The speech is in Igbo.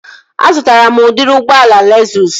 Azụtara m udịri ụgbọala Lezụs